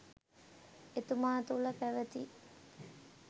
එතුමා තුළ පැවැති